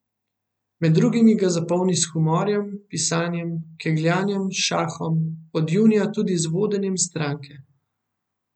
Med drugim ga zapolni s humorjem, pisanjem, kegljanjem, šahom, od junija tudi z vodenjem stranke.